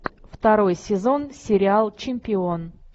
второй сезон сериал чемпион